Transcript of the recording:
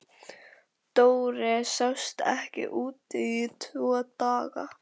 Dóri sást ekki úti í tvo daga.